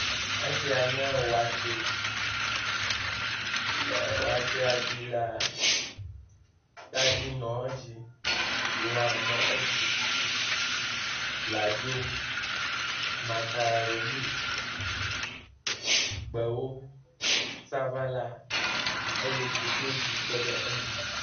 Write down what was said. Esia nye watsɛ, le watsɛa dzi la tadi nɔ edzi, lã nɔ edzi, bladzo, makaroni, gbewo, sabala eye koklozi kpe ɖe eŋu.